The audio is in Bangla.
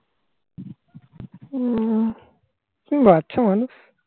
তুমি বাচ্চা মানুষ.